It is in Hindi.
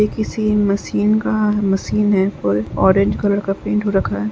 ये किसी मशीन का मशीन है ऑरेंज कलर का पेंट हो रखा है।